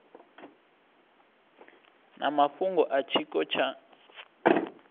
na mafhungo a tshiko tsha